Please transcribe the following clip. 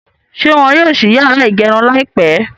Ṣé wọ́n yóò ṣí yàrá ìgẹrun láìpẹ́?